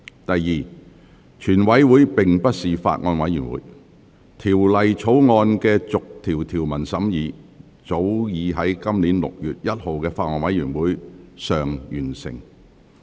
第二，全體委員會並非法案委員會，《條例草案》的逐項條文審議早已在今年6月1日的法案委員會會議上完成。